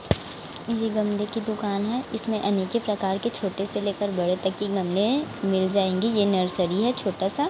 ये गमले की दुकान है इसमें अनेके प्रकार के छोटे से लेकर बड़े तक की गमले हैं मिल जाएंगी ये नर्सरी है छोटा सा।